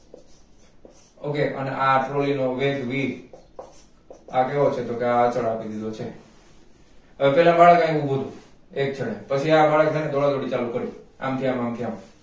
okay અને આ trolly નો વેગ v આ કેવો છે તો કેઅડચણઆપી દીધો છે હવે પેલા બાળક અહીંયા ઉભોતો એક છેડે પછી આ બાળકને દોડાદોડી ચાલુ કર્યું અમથી આમ અમથી આમ